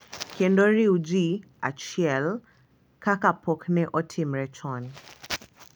Kendo riw ji achiel kaka pok ne otimre chon.